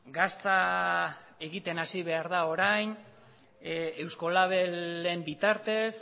gazta egiten hasi behar da orain eusko labelen bitartez